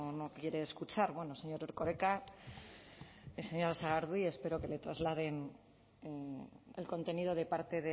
no quiere escuchar bueno señor erkoreka y señora sagardui espero que le trasladen el contenido de parte